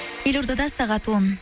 елордада сағат он